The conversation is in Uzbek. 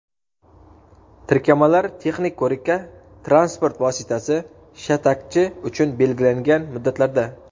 tirkamalar texnik ko‘rikka transport vositasi – shatakchi uchun belgilangan muddatlarda;.